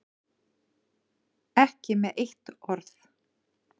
Ekki með eitt orð.